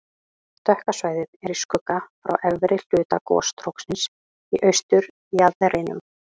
Dökka svæðið er í skugga frá efri hluta gosstróksins í austurjaðrinum.